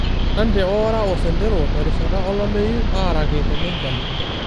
lenante oara osentero terishata olameyu araki tenenchan